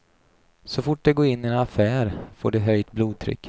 Så fort de går in i en affär får de höjt blodtryck.